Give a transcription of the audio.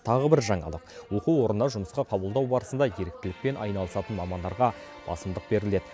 тағы бір жаңалық оқу орнына жұмысқа қабылдау барысында еріктілікпен айналысатын мамандарға басымдық беріледі